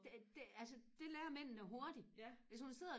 det det altså det lærer mændene hurtigt hvis hun sidder